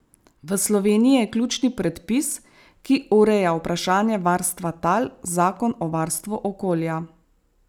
V Sloveniji je ključni predpis, ki ureja vprašanje varstva tal, zakon o varstvu okolja.